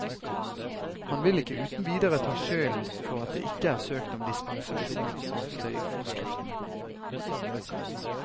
Han vil ikke uten videre ta skylden for at det ikke er søkt om dispensasjon fra støyforskriftene.